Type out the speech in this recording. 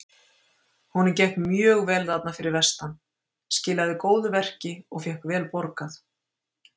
Honum gekk mjög vel þarna fyrir vestan- skilaði góðu verki og fékk vel borgað.